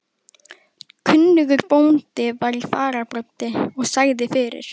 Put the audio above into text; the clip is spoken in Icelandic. Kunnugur bóndi var í fararbroddi og sagði fyrir.